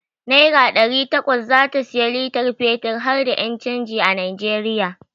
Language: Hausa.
Naira ɗari takwas zata sayi litar fetir harda ƴan canji a Najeriya.